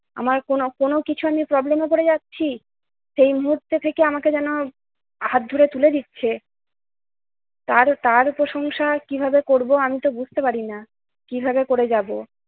আমার কোন কোন কিছু নিয়ে problem এ পড়ে যাচ্ছি সেই মুহূর্ত থেকে আমাকে যেন হাত ধরে তুলে দিচ্ছে। তার তার প্রশংসা কিভাবে করব আমি তো বুঝতে পারি না, কিভাবে করে যাব